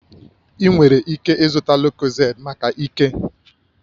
Ị nwere ike ịzụta lucozade maka ike